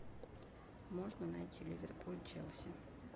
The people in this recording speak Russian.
можно найти ливерпуль челси